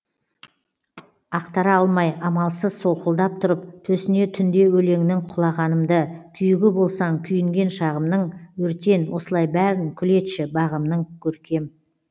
ақтара алмай амалсыз солқылдап тұрып төсіне түнде өлеңнің құлағанымды күйігі болсаң күйінген шағымның өртен осылай бәрін күл етші бағымның көркем